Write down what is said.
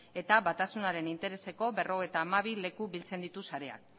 eta batasunaren intereseko berrogeita hamabi leku biltzen ditu sareak